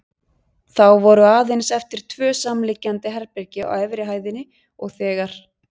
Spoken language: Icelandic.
Þá voru aðeins eftir tvö samliggjandi herbergi á efri hæðinni og þegar